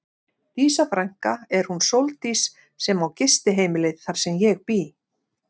Dísa frænka er hún Sóldís sem á gistiheimilið þar sem ég bý.